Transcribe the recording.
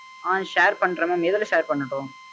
ஆஹ்ன் share பண்றேன் mam எதுல share பண்ணட்டும்?